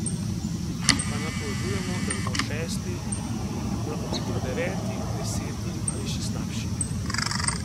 Če pa napovedujemo, da bomo šesti, bomo lahko hitro deveti, deseti ali še slabši.